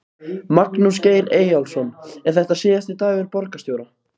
Magnús Geir Eyjólfsson: Er þetta síðasti dagur borgarstjóra?